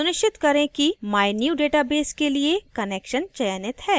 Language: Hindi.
सुनिश्चित करें कि mynewdatabase के लिए connection चयनित है